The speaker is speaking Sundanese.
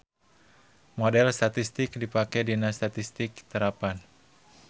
Model statistik dipake dina statistik terapan.